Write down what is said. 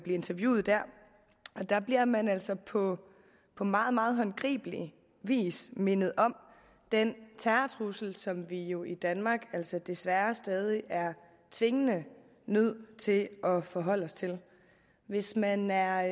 interviewet og der bliver man altså på på meget meget håndgribelig vis mindet om den terrortrussel som vi jo i danmark altså desværre stadig er tvingende nødt til at forholde os til hvis man er